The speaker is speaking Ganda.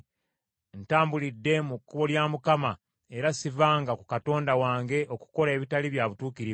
Ntambulidde mu kkubo lya Mukama , era sivanga ku Katonda wange okukola ebitali bya butuukirivu.